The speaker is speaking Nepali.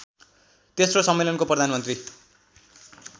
तेस्रो सम्मेलनको प्रधानमन्त्री